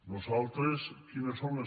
nosaltres quines són les